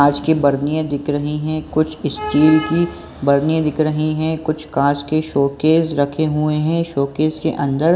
कांच की बर्निया दिख रही है कुछ स्टील की बर्निया दिख रही है कुछ कांच के शोकेष रखे हुए है शोकेष के अंदर --